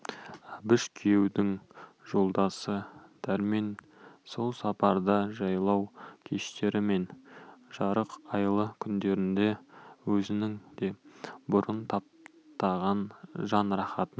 әбіш күйеудің жолдасы дәрмен сол сапарда жайлау кештері мен жарық айлы түндерінде өзінің де бұрын татпаған жан рахатын